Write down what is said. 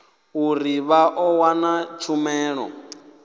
uri vha ḓo wana tshumelo